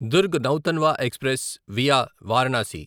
Durg Nautanwa express via Varanasi